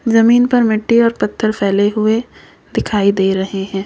जमीन पर मिट्टी और पत्थर फैले हुए दिखाई दे रहे हैं।